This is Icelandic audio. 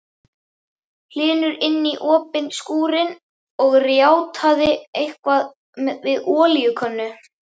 Hlynur inní opinn skúrinn og rjátlaði eitthvað við olíukönnu.